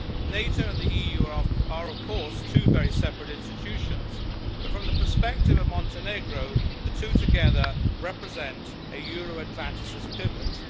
NATO and the EU are of course two very separate institutions, but from the perspective of Montenegro the two together represent a Euro Atlanticist pivot.